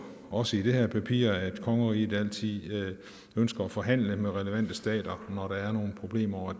også i det her papir at kongeriget altid ønsker at forhandle med relevante stater når der er nogle problemer og